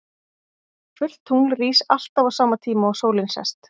Fullt tungl rís alltaf á sama tíma og sólin sest.